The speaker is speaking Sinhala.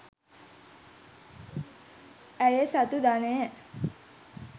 ඈය සතු ධනය